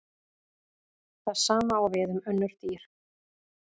Það sama á við um önnur dýr.